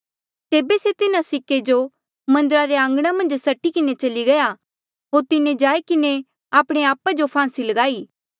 तेबे से तिन्हा सिक्के जो मन्दरा रे आंघणा मन्झ सट्टी किन्हें चली गया होर तिन्हें जाई किन्हें आपणे आपा जो फांसी लगाई